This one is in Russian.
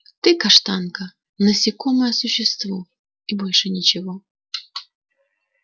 ты каштанка насекомое существо и больше ничего